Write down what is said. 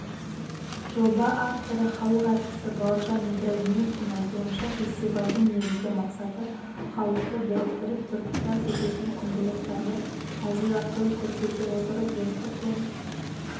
жоба авторы халық әртісі бауыржан ибрагимовтың айтуынша фестивальдің негізгі мақсаты халықты біріктіріп біртұтас ететін құндылықтарды әзіл арқылы көрсете отырып достық пен